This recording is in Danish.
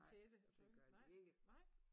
Nej det gør de ikke